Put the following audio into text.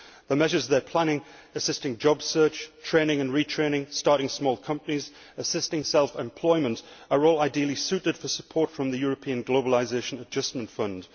The measures they are planning assisting job search, training and retraining, starting small companies, assisting self employment are all ideally suited for support from the European Globalisation Adjustment Fund.